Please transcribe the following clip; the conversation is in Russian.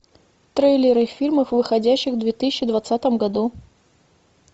трейлеры фильмов выходящих в две тысячи двадцатом году